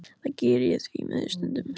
Það geri ég því miður stundum.